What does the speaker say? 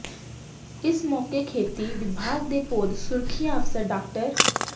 ਇਸ ਮੌਕੇ ਖੇਤੀ ਵਿਭਾਗ ਦੇ ਪੌਦ ਸੁਰੱਖਿਆ ਅਫ਼ਸਰ ਡਾ